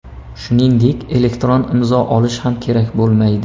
Shuningdek elektron imzo olish ham kerak bo‘lmaydi.